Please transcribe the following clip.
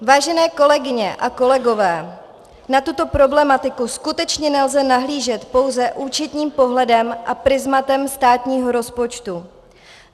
Vážené kolegyně a kolegové, na tuto problematiku skutečně nelze nahlížet pouze účetním pohledem a prizmatem státního rozpočtu.